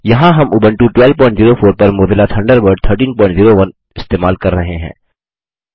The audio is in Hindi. यहाँ हम उबंटू 1204 पर मोज़िला थंडरबर्ड 1301 इस्तेमाल कर रहे हैं